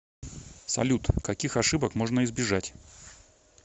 салют каких ошибок можно избежать